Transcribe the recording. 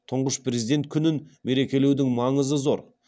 тұңғыш президент күнін мерекелеудің маңызы зор